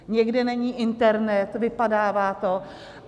Někde není internet, vypadává to.